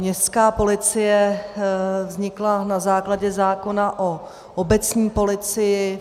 Městská policie vznikla na základě zákona o obecní policii.